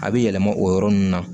A bɛ yɛlɛma o yɔrɔ nun na